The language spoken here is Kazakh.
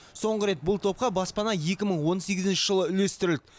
соңғы рет бұл топқа баспана екі мың он сегізінші жылы үлестірілді